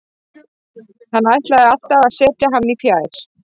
Hann ætlaði alltaf að setja hann í fjær.